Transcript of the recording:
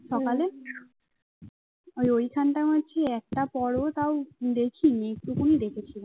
ওই ওইখান টাই মনে হচ্ছে একটা পর্ব তাও দেখিনি একটুখুনি দেখেছিলাম।